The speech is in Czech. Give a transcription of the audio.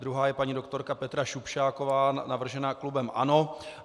Druhá je paní doktorka Petra Šupšáková navržená klubem ANO.